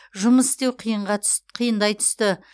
жұмыс істеу қиынға қиындай түсті